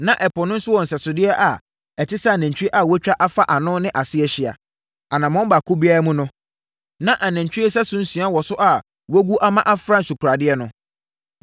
Na Ɛpo no wɔ nsɛsodeɛ a ɛte sɛ anantwie a wɔatwa afa ano no ase ahyia. Anammɔn baako biara mu no, na anantwie sɛso nsia wɔ so a wɔagu ama afra nsukoradeɛ no.